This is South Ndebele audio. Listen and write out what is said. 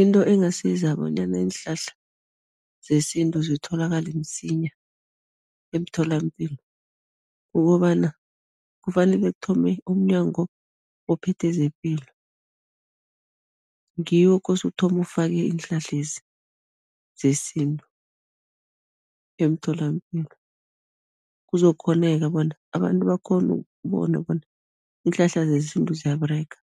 Into engasiza bonyana iinhlahla zesintu zitholakale msinya emtholampilo, kukobana kufanele kuthome umNyango ophethe zePilo, ngiwo okose uthome ufake iinhlahlezi zesintu emtholampilo, kuzokukghoneka bona abantu bakghone ukubona bona iinhlahla zesintu ziyaberega,